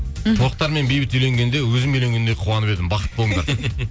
мхм тоқтар мен бейбіт үйленгенде өзім үйленгендей қуанып едім бақытты болыңдар